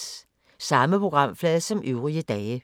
Samme programflade som øvrige dage